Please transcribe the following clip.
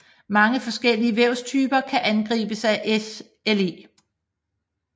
Mange forskellige vævstyper kan angribes af SLE